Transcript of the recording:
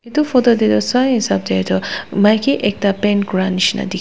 etu photo teh toh sai hisab teh tu maiki ekta paint kora nisna dikhi.